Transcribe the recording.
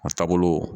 A taabolo